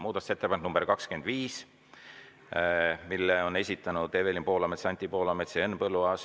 Muudatusettepaneku nr 25 on esitanud Evelin Poolamets, Anti Poolamets ja Henn Põlluaas.